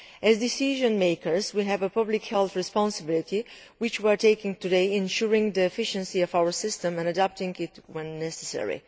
As decision makers, we have a public health responsibility, which we are taking today in ensuring the efficiency of our system and adapting it when necessary.